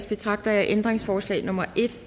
betragter jeg ændringsforslag nummer en